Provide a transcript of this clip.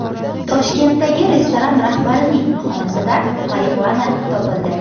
Toshkentdagi restoran rahbarining xonasidan marixuana topildi.